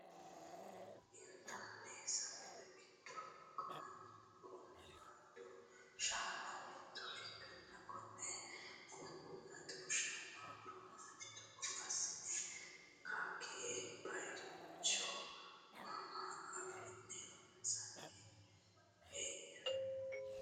Intanni sagale giddo qunqumadu shaani mitto ikkanna konne qunqumadeu shaani horo maati? Togo assine kagee bayiicho mama afi'ne loonse hee'noyi?